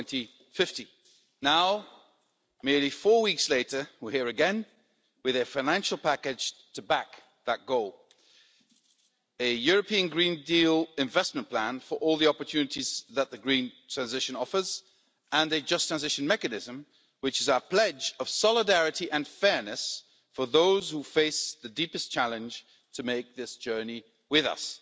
2050. Now, only four weeks later, we are here again with a financial package to back that goal a European Green Deal investment plan for all the opportunities that the green transition offers and a Just Transition Mechanism, which is our pledge of solidarity and fairness for those who face the deepest challenge to make this journey with us.